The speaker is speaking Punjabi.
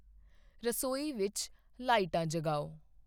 ਰਸੋਈ ਵਿੱਚ ਲਾਈਟਾਂ ਜਗਾਓ